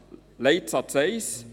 Leitsatz 1: